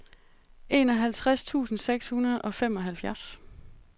enoghalvtreds tusind seks hundrede og femoghalvfjerds